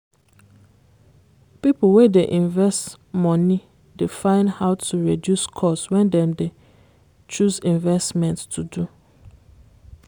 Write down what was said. people wey dey invest money dey find how to reduce cost when dem dey choose investment to do.